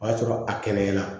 O y'a sɔrɔ a kɛnɛyala